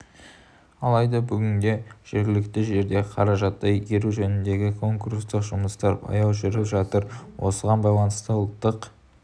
алайда бүгінде жергілікті жерде қаражатты игеру жөніндегі конкурстық жұмыстар баяу жүріп жатыр осыған байланысты ұлттық